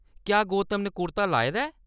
क्या गौतम ने कुर्ता लाए दा ऐ ?